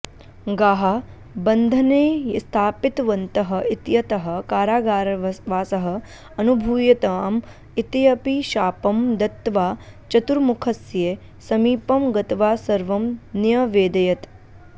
गाः बन्धने स्थापितवन्तः इत्यतः कारागारवासः अनुभूयताम् इत्यपि शापं दत्त्वा चतुर्मुखस्य समीपं गत्वा सर्वं न्यवेदयत्